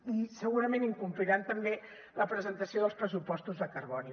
i segurament incompliran també la presentació dels pressupostos de carboni